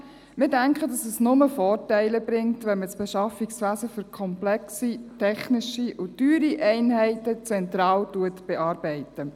Wir denken, dass es nur Vorteile bringt, wenn man das Beschaffungswesen für komplexe technische und teure Einheiten zentral bearbeitet.